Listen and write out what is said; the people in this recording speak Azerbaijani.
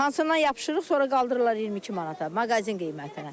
Hansından yapışırıq, sonra qaldırırlar 22 manata, mağazin qiymətinə.